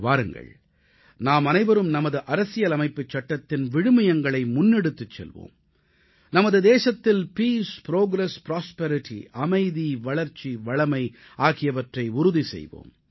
வாருங்கள் நாமனைவரும் நமது அரசியலமைப்புச் சட்டத்தின் விழுமியங்களை முன்னெடுத்துச் செல்வோம் நமது தேசத்தில் பீஸ் புரோகிரஸ் புராஸ்பெரிட்டி அமைதி வளர்ச்சி வளமை ஆகியவற்றை உறுதி செய்வோம்